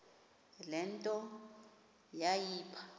le nto yayipha